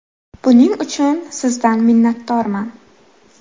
Buning uchun Sizdan minnatdorman.